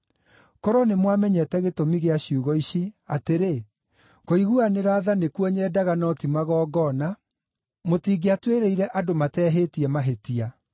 Korwo nĩmwamenyete gĩtũmi gĩa ciugo ici, atĩrĩ, ‘Kũiguanĩra tha nĩkuo nyendaga, no ti magongona,’ mũtingĩatuĩrĩire andũ mateehĩtie mahĩtia.